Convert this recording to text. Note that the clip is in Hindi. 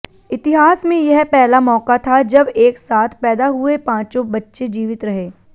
इतिहास में यह पहला मौका था जब एक साथ पैदा हुए पांचों बच्चे जीवित रहे